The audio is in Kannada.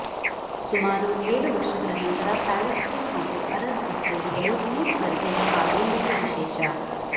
ಸುಮಾರು ಏಳು ವರ್ಷಗಳ ನಂತರ ಪ್ಯಾಲೇಸ್ಟೀನ್ ಹಾಗೂ ಅರಬ್ ಇಸ್ರೇಲಿಗಳು ಈ ಸ್ಪರ್ಧೆಯಲ್ಲಿ ಪಾಲ್ಗೊಂಡಿದ್ದು ವಿಶೇಷ